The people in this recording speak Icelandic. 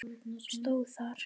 stóð þar.